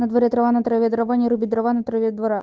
на дворе трава на траве дрова не руби дрова на траве двора